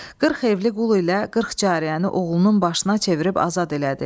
40 evli qul ilə 40 cariyəni oğlunun başına çevirib azad elədi.